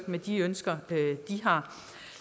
med de ønsker de har